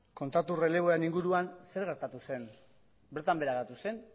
kontratu erreleboen inguruan zer gertatu zen bertan behera geratu zen